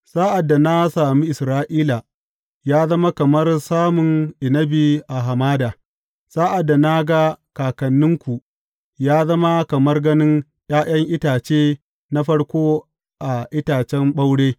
Sa’ad da na sami Isra’ila, ya zama kamar samun inabi a hamada; sa’ad da na ga kakanninku, ya zama kamar ganin ’ya’yan itace na farko a itacen ɓaure.